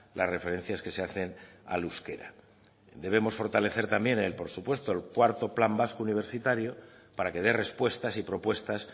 las referencias que se hacen al euskera debemos fortalecer también por supuesto el cuarto plan vasco universitario para que dé respuestas y propuestas